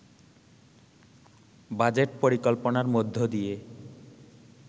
budget পরিকল্পনার মধ্য দিয়ে